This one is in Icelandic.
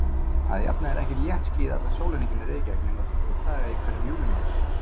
Að jafnaði er ekki léttskýjað allan sólarhringinn í Reykjavík nema tvo daga í hverjum júlímánuði.